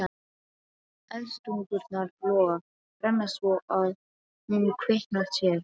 Eldstungurnar loga, brenna svo að hún kveinkar sér.